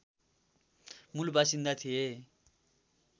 मूलबासिन्दा थिए